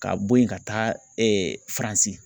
Ka bo yen ka taa FARANSI.